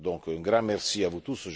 Un grand merci à vous tous.